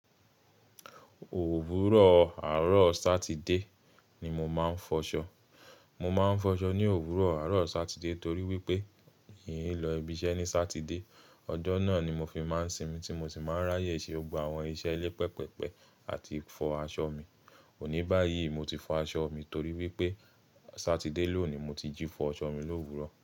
Òwúrọ̀ àárọ̀ Sátidé ni mo máa ń fọṣọ. Mo máa ń fọṣọ ní òwúrọ̀ àárọ̀ Sátidé torí wípé n kì í lọ ibi iṣẹ́ ní Sátidé. Ọjọ́ náà ni mo fi máa ń sinmi tí mo sì máa ń ráyè ṣe gbogbo àwọn iṣẹ́ ilé pẹpẹpẹ àti fọ aṣọ mi. Òní báyìí, mo ti fọ aṣọ mi torí wípé Sátidé lónìí mo ti jí fọ aṣọ mi l'òwúrọ̀.